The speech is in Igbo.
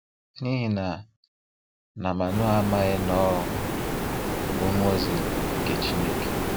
N'ihi na na Manoa amaghi na ọ bụ mmụọ ozi nke Chineke.